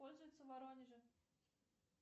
пользуется в воронеже